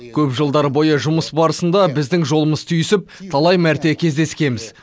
көп жылдар бойы жұмыс барысында біздің жолымыз түйісіп талай мәрте кездескенбіз